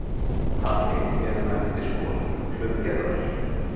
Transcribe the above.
Þannig eru vændiskonur hlutgerðar.